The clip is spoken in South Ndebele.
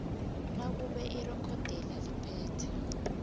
nakube irekhodelo liphethe